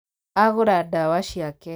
Agūra ndawa ciake.